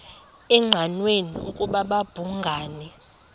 engqanweni ukuba babhungani